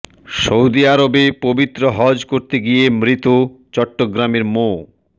Saudi আরবে পবিত্র হজ করতে গিয়ে মৃত চট্টগ্রামের মো